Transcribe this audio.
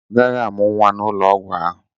Ọ gaghị amụ nwa n'ụlọ ọgwụ ahụ.